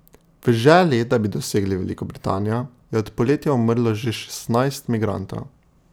V želji, da bi dosegli Veliko Britanijo, je od poletja umrlo že šestnajst migrantov.